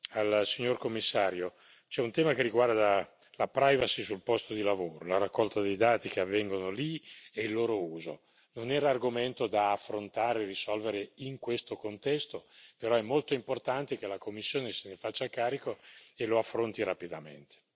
Vorrei dire una cosa da ultimo al signor Commissario, c'è un tema che riguarda la privacy sul posto di lavoro. La raccolta dei dati che avvengono lì e il loro uso non era argomento da affrontare e risolvere in questo contesto, però è molto importante che la Commissione se ne faccia carico e lo affronti rapidamente.